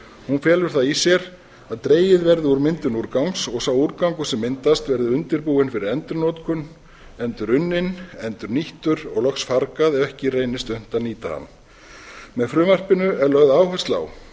hún felur það í sér að dregið verði úr myndun úrgangs og sá úrgangur sem myndast verði undirbúinn fyrir endurnotkun endurunninn endurnýttur og loks fargað ef ekki reynist unnt að nýta hann með frumvarpinu er lögð áhersla á